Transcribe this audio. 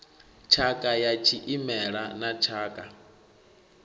tshakha ya tshimela na tshakha